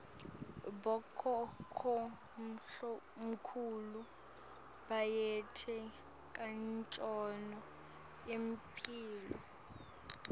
bokhokhomkhulu bayati kancono imphilo